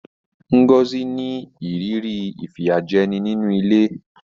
Ngozi ní ìrírí ìfìyàjẹni nínú ilé.